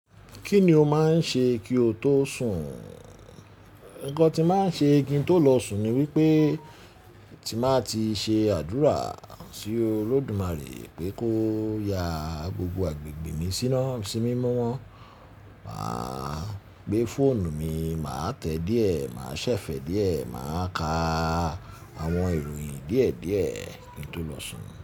Kíni ó máa ń ṣe kí o tó sùn? Nǹkan tí màá ń ṣe kí n tó lọ sùn ni wípé tí màá ti ṣe àdúrà sí Olódùmarè pé kó ya gbogbo agbègbè mi simimọ́. Wà á gbé fóònù mi, màá tẹ̀ díẹ̀, màá ṣẹ̀fẹ̀ẹ́ díẹ̀, màá ka àwọn ìròyìn díẹ̀díẹ̀ kí n tó lọ sùn.